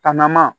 Ka na ma